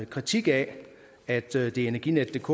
kritik af at energinetdk